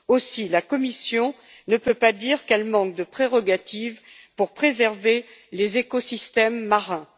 Aussi, la Commission ne peut pas dire qu'elle manque de prérogatives pour préserver les écosystèmes marins.